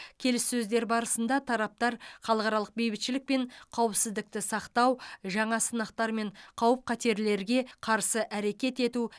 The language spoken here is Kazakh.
келіссөздер барысында тараптар халықаралық бейбітшілік пен қауіпсіздікті сақтау жаңа сынақтар мен қауіп қатерлерге қарсы әрекет ету